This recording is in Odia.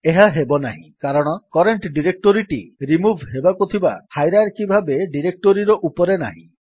ଏହା ହେବନାହିଁ କାରଣ କରେଣ୍ଟ୍ ଡିରେକ୍ଟୋରୀଟି ରିମୁଭ୍ ହେବାକୁ ଥିବା ହାଇରାର୍କି ଭାବେ ଡିରେକ୍ଟୋରୀର ଉପରେ ନାହିଁ